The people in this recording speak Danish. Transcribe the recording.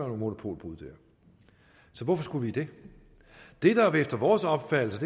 monopolbrud der så hvorfor skulle vi det det der er vores opfattelse